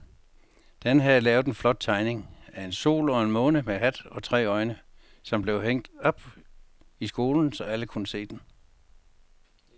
Dan havde lavet en flot tegning af en sol og en måne med hat og tre øjne, som blev hængt op i skolen, så alle kunne se den.